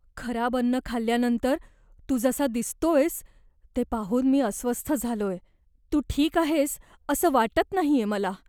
खराब अन्न खाल्ल्यानंतर तू जसा दिसतोयस ते पाहून मी अस्वस्थ झालोय. तू ठीक आहेस असं वाटत नाहीये मला.